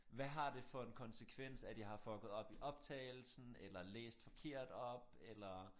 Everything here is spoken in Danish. Hvad har det for en konsekvens at jeg har fucket op i optagelsen eller læst forkert op eller